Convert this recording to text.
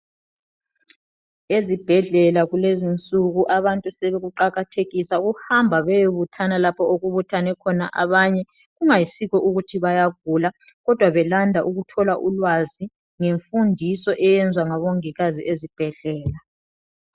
Ezibhedlela kulezinsuku abantu sebekuqakathekisa ukuhamba beyebuthana lapho okubuthane khona abanye kungayisikho ukuthi bayagula kodwa belanda ukuthola ulwazi ngemfundiso eyenziwa ngobongikazi ezibhedlela.